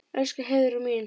Elsku Heiðrún mín.